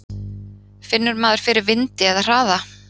Finnur maður fyrir vindi eða hraða?